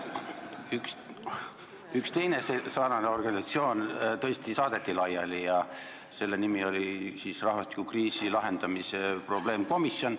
Üks sarnane organisatsioon tõesti saadeti laiali, see oli rahvastikukriisi lahendamise probleemkomisjon.